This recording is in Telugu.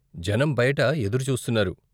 జనం బయట ఎదురు చూస్తున్నారు.